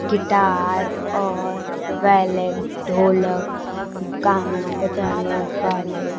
Guitar और वैलेंस ढोलक गाना बजाने वाले।